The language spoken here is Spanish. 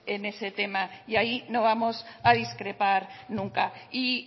en ese tema y ahí no vamos a discrepar nunca y